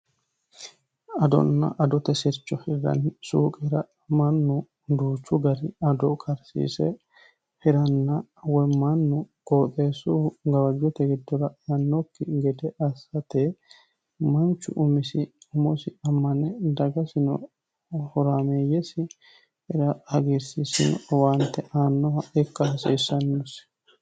adonna adote sircho hirrani suuqera mannu duuchu gari ado karsiise hiranna wommannu gooxeessu gawajjote giddora annokki gede assate manchu umisi umosi ammane dagasino horaameeyyesi hagirisiissanno owaante aannoha ikka hasiissannosi